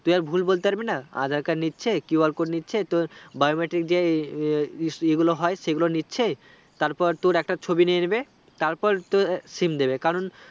তুই আর ভুল বলতে পারবি না aadhar card নিচে QR code নিচ্ছে তো biometric যে ইগুলো হয় সেগুলো নিচ্ছে তারপর তোর একটা ছবি নিয়ে নিবে তারপর তো SIM দেবে